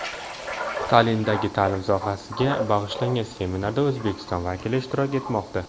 Tallindagi ta’lim sohasiga bag‘ishlangan seminarda O‘zbekiston vakillari ishtirok etmoqda.